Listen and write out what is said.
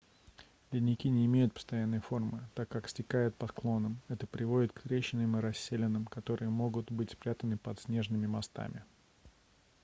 ледники не имеют постоянной формы так как стекают по склонам это приводит к трещинам и расселинам которые могут быть спрятаны под снежными мостами